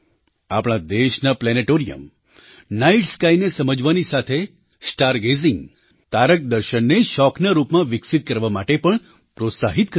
આપણા દેશનાં planetarium night સ્કાયને સમજવાની સાથે સ્ટાર ગેઝીંગતારક દર્શનને શોખના રૂપમાં વિકસિત કરવા માટે પણ પ્રોત્સાહિત કરે છે